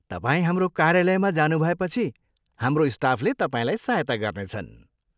तपाईँ हाम्रो कार्यालयमा जानुभएपछि हाम्रो स्टाफले तपाईँलाई सहायता गर्नेछन्।